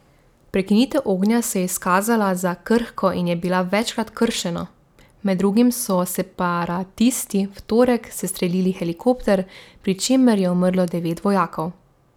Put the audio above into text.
Prekinitev ognja se je izkazala za krhko in je bila večkrat kršeno, med drugim so separatisti v torek sestrelili helikopter, pri čemer je umrlo devet vojakov.